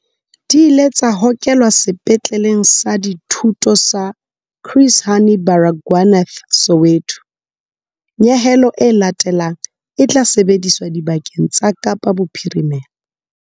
Di ile tsa hokelwa Sepetleleng sa Dithuto sa Chris Hani Baragwanath Soweto. Nyehelo e latelang e tla sebediswa dibakeng tsa Kapa Bophirimela.